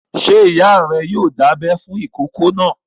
Ṣé ìyá rẹ yoo dábẹ fún ìkókó náà?